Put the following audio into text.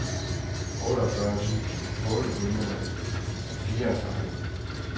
otteogfyrre tusind otte hundrede og fireogtredive